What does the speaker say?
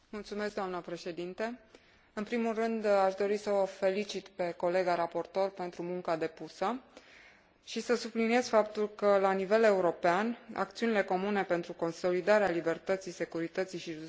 În primul rând, aș dori să o felicit pe colega raportor pentru munca depusă și să subliniez faptul că, la nivel european, acțiunile comune pentru consolidarea libertății, securității și justiției sunt esențiale.